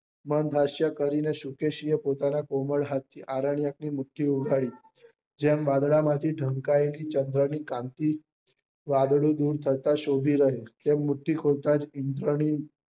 મન હાસ્ય કરી ને શુકેશી એ પોતાના કોમલ હાથ થી આરન્ક્ય ની મુઠી ઉગાડી જેમ વાદળા માં થી ઢંકાયેલી ચંદ્ર ની ક્રાંતિ વાદળી દુર કરતા શોભી રહ્યું તેમ મુઠી ખોલતા જ ઇન્ધ્રની